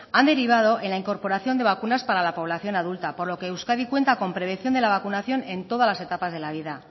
han derivado en la incorporación de vacunas para la población adulta por lo que euskadi cuenta con prevención de la vacunación en todas las etapas de la vida